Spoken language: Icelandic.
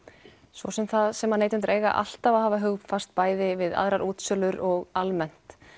svo sem það sem neytendur eiga alltaf að hafa hugfast bæði við aðrar útsölur og almennt